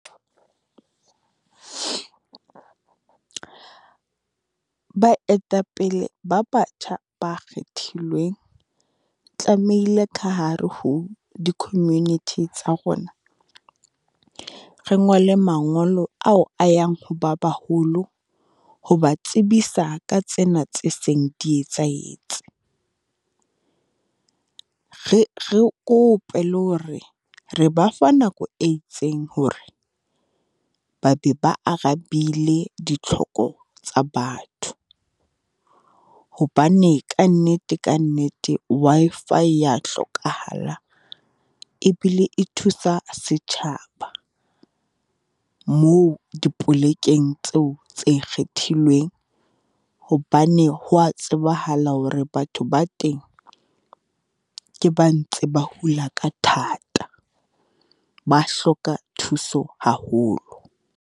Baetapele ba batjha ba kgethilweng, tlamehile ka hare ho di-community tsa rona, re ngole mangolo ao a yang ho ba baholo ho ba tsebisa ka tsena tse seng di etsahetse. Re re kope le hore re ba fa nako e itseng hore ba be ba arabile ditlhoko tsa batho. Hobane kannete, kannete Wi-Fi e ya hlokahala, e bile e thusa setjhaba, moo dipolekeng tseo tse kgethilweng. Hobane ho wa tsebahala hore batho ba teng, ke ba ntse ba hula ka thata, ba hloka thuso haholo.